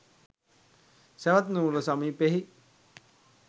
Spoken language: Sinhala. සැවැත්නුවර සමීපයෙහි